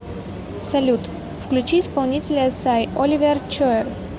салют включи исполнителя сай оливер чои